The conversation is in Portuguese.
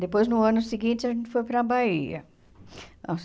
Depois, no ano seguinte, a gente foi para Bahia. As